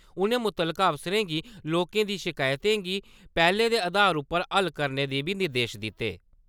उ`नें मुतलका अफसरें गी लोकें दी शकायतें गी पैह्‌ल दे अधार उप्पर हल करने दे बी निर्देश दिते।